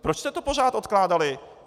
Proč jste to pořád odkládali?